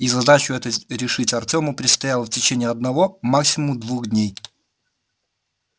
и задачу эту решить артёму предстояло в течение одного максимум двух дней